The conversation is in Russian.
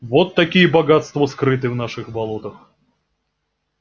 вот какие богатства скрыты в наших болотах